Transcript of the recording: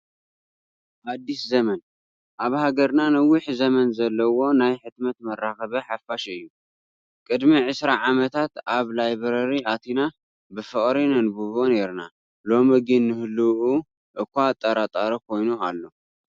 ኣዲስ ዘመን ኣብ ሃገርና ነዊሕ ዘመን ዘለዎ ናይ ሕትመት መራኸቢ ሓፋሽ እዩ፡፡ ቅድሚ ዕስራ ዓመታት ኣብ ላይብረሪ ኣቲና ብፍቕሪ ነንብቦ ኔርና፡፡ ሎሚ ግን ንህልውንኡ እዃ ኣጠራጣሪ ኮይኑ ኣሎ፡፡